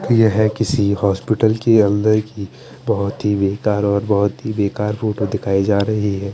येहे किसी होस्पिटल की अंदर की बहोत ही बेकार और बहोत ही बेकार फोटो दिखाई जा रही है।